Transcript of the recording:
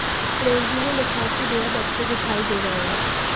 Renzi ने लिखा कि बेहद अच्छे दिखाई दे रहे हैं